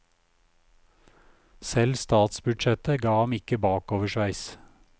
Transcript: Selv statsbudsjettet ga ham ikke bakoversveis.